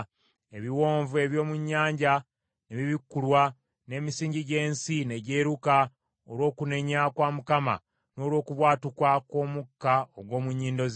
Ebiwonvu eby’omu nnyanja ne bibikkulwa n’emisingi gy’ensi ne gyeruka olw’okunenya kwa Mukama n’olw’okubwatuka kw’omukka ogw’omu nnyindo ze.